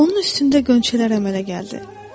Onun üstündə qönçələr əmələ gəldi.